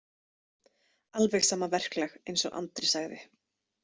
Alveg sama verklag, eins og Andri sagði.